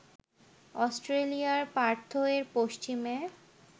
অস্ট্রেলিয়ার পার্থ এর পশ্চিমে